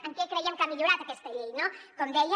en què creiem que ha millorat aquesta llei no com deia